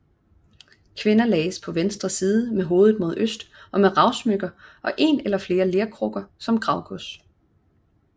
Kvinder lagdes på venstre side med hovedet mod øst og med ravsmykker og en eller flere lerkrukker som gravgods